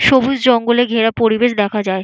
সবুজ জঙ্গলে ঘেরা পরিবেশ দেখা যায়।